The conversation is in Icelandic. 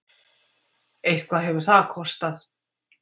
Eitthvað hefur það kostað!